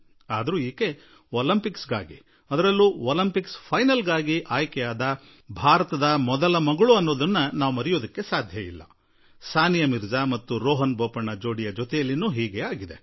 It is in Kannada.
ಆದರೆ ಅವರು ಒಲಿಂಪಿಕ್ಸ್ ಕ್ರೀಡೆಗಳಿಗಾಗಿ ಹಾಗೂ ಒಲಿಂಪಿಕ್ಸ್ ಅಂತಿಮ ಪಂದ್ಯದಲ್ಲಿ ಆರ್ಹತೆ ಪಡೆದ ಮೊದಲ ಭಾರತೀಯ ಹೆಣ್ಣುಮಗಳು ಎನ್ನುವ ಸಂಗತಿಯನ್ನು ನಾವು ಹೇಗೆ ಮರೆಯಲು ಸಾಧ್ಯ ಸ್ವಲ್ಪ ಇದೇ ರೀತಿ ಟೆನ್ನಿಸ್ ನಲ್ಲಿ ಸಾನಿಯಾ ಮಿರ್ಜಾ ಮತ್ತು ರೋಹನ್ ಬೋಪಣ್ಣ ಜೋಡಿ ಸಂಗಡವೂ ಹೀಗೆಯೇ ಆಯಿತು